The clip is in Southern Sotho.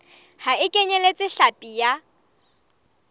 ha e kenyeletse hlapi ya